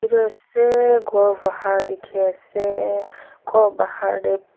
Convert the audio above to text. etu ase khor bahar dekhi ase khor bahar te.